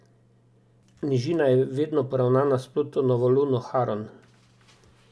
Nižina je vedno poravnana s Plutonovo Luno Haron.